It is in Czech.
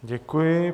Děkuji.